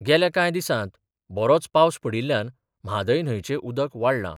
गेल्या कांय दिसांत बरोच पावस पडिल्ल्यान म्हादय न्हंयचें उदक वाडलां.